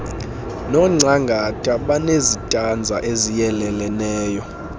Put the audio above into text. nongcangata banezitanza eziyeleleneyo